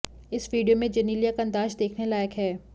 इस वीडियो में जेनेलिया का अंदाज देखने लायक है